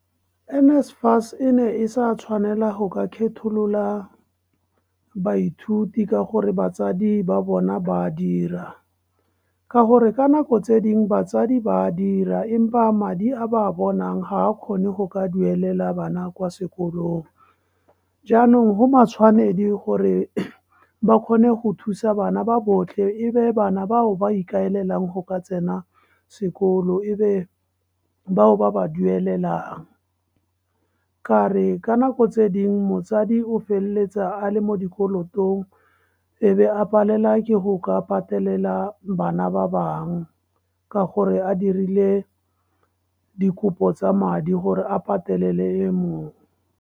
N_SFAS e ne e sa tshwanela go ka kgetholola baithuti ka gore batsadi ba bona ba dira, ka gore ka nako tse dingwe batsadi ba a dira empa madi a ba a bonang ga a kgone go ka duelela bana kwa sekolong. Jaanong go matshwanedi gore ba kgone go thusa bana ba botlhe, e be bana bao ba ikaelelang go ka tsena sekolo, e be bao ba ba dumelelwang. Ka re ka nako tse dingwe motsadi o feleletsa a le mo dikoloto, e be a palelwa ke go ka ipatelela bana ba bangwe ka gore a dirile dikopo tsa madi gore a patelele e mongwe.